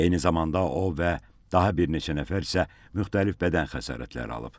Eyni zamanda o və daha bir neçə nəfər isə müxtəlif bədən xəsarətləri alıb.